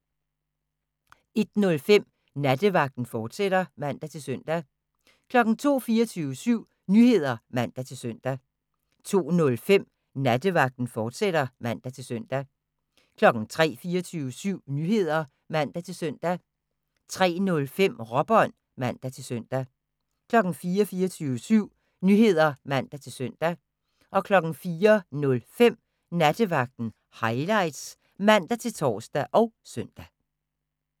01:05: Nattevagten, fortsat (man-søn) 02:00: 24syv Nyheder (man-søn) 02:05: Nattevagten, fortsat (man-søn) 03:00: 24syv Nyheder (man-søn) 03:05: Råbånd (man-søn) 04:00: 24syv Nyheder (man-søn) 04:05: Nattevagten Highlights (man-tor og søn)